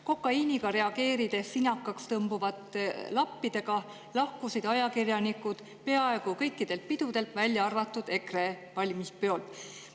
Kokaiiniga reageerides sinakaks tõmbuvate lappidega lahkusid ajakirjanikud peaaegu kõikidelt pidudelt, välja arvatud EKRE valimispeolt.